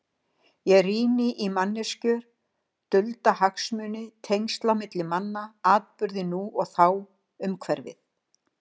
Ég rýni í manneskjur, dulda hagsmuni, tengsl á milli manna, atburði nú og þá, umhverfið.